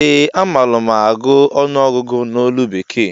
Ee a malu mụ agụ ọnụọgụgụ ná olu bekee